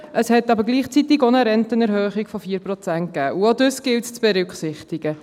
Es hat aber gleichzeitig auch eine Rentenerhöhung von 4 Prozent gegeben, und auch dies gilt es zu berücksichtigen.